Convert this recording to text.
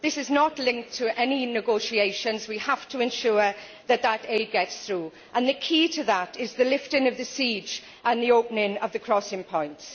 This is not linked to any negotiations. We have to ensure that that aid gets through, and the key to that is the lifting of the siege and the opening of the crossing points.